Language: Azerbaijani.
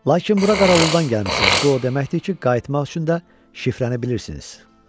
Lakin bura Qarauldandan gəlmisiniz, bu o deməkdir ki, qayıtmaq üçün də şifrənə bilirsiniz.